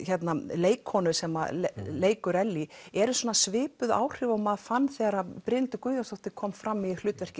leikkonu sem að leikur Ellý eru svona svipuð áhrif og maður fann þegar Brynhildur Guðjónsdóttir kom fram í hlutverki